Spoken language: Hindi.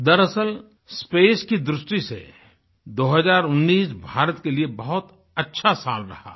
दरअसलस्पेस की दृष्टि से 2019 भारत के लिए बहुत अच्छा साल रहा है